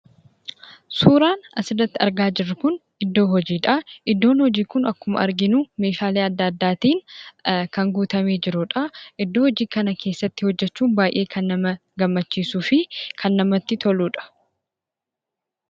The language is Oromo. Suuraan asirratti argaa jirru kun iddoo hojiidha. Iddoon hojii kun akkuma arginu meeshaalee adda addaatiin kan guutamee jirudha. Iddoo hojii kana keessatti hojjachuun baayyee kan nama gammachiisuufi kan namatti toludha.